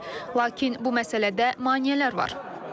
Lakin bu məsələdə maneələr var.